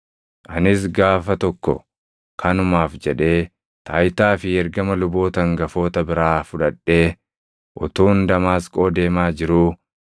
“Anis gaafa tokko kanumaaf jedhee taayitaa fi ergama luboota hangafoota biraa fudhadhee utuun Damaasqoo deemaa jiruu,